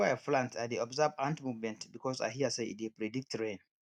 before i plant i dey observe ant movement because i hear say e dey predict rain